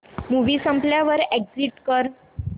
movie संपल्यावर exit कर